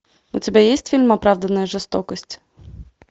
у тебя есть фильм оправданная жестокость